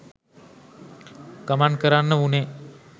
ගමන් කරන්න වුනේ